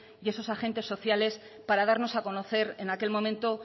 y esos agentes sociales para darnos a conocer en aquel momento